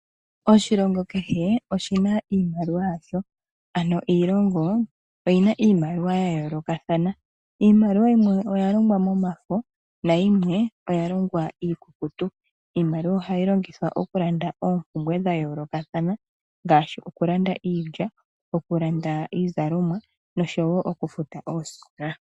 Oshilongo kehe oshina iimaliwa yasho ano iilongo oyina iimaliwa yayo ya yoolokathana. Iimaliwa yimwe oya longwa momafo nayimwe oya longwa miikukutu. Iimaliwa ohayi longithwa okulanda oompumbwe dha yoolokathana ngaashi okulanda iilya, okulanda iizalomwa noshowo okufuta oosikola.